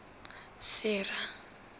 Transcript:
sera